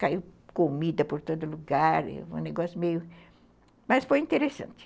Caiu comida por todo lugar, um negócio meio... Mas foi interessante.